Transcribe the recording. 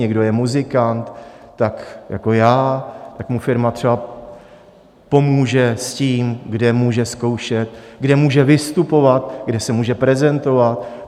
Někdo je muzikant - tak jako já - tak mu firma třeba pomůže s tím, kde může zkoušet, kde může vystupovat, kde se může prezentovat.